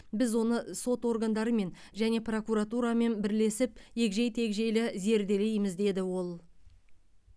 біз оны сот органдарымен және прокуратурамен бірлесіп егжей тегжейлі зерделейміз деді ол